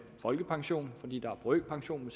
folkepension fordi der er brøkpension